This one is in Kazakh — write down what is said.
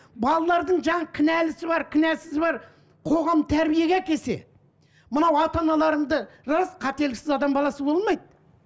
балалардың жаңағы кінәлісі бар кінәсізі бар қоғам тәрбиеге әкелсе мынау ата аналарыңды рас қателіксіз адам баласы болмайды